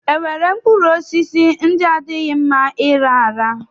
E nwere mkpụrụosisi ndị adịghị mma ịra ara?